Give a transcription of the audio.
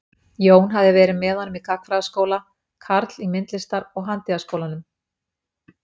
Jón hafði verið með honum í gagnfræðaskóla, karl í Myndlistar- og handíðaskólanum.